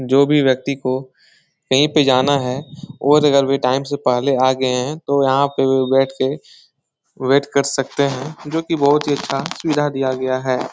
जो भी व्यक्ति को कहीं पे जाना है और अगर वो टाइम से पहले आ गए हैं तो यहां पे बैठ के वेट कर सकते हैं जो कि बहुत ही अच्छा सुविधा दिया गया है।